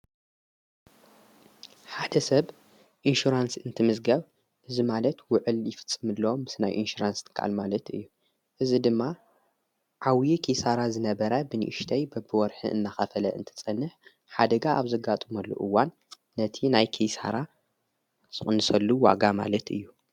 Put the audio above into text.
ሓደ ሰብ ኢንሹራንስ እንትምስጋብ እዝማለት ውዕል ይፍጽምሎም ምስ ናይ ኢንሽራንስ ትከኣል ማለት እዩ። እዝ ድማ ዓውዪ ኪሳራ ዝነበራ ብኒእሽተይ በብወርኅን እናኸፈለ እንት ጸንሕ ሓደጋ ኣብ ዘጋጡ መሉኡዋን ነቲ ናይ ኪሳራ ቕንሰሉ ዋጋ ማለት እዩ።